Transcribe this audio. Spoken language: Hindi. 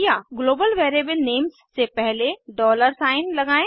ग्लोबल वेरिएबल नेम्स से पहले डॉलर सिग्न लगाएं